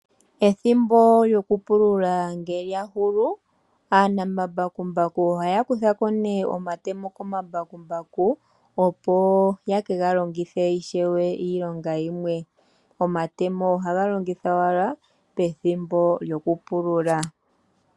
Ethimbo lyoku pulula nge lya hulu, aanamambakumbaku ohaya kutha ko nee omatemo komambakumbaku ,opo yeka longithe ishewe iilonga yimwe . Omatemo ohaga longithwa wala pethimbo lyoku pulula.